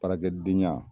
Baarakɛ den ɲɛ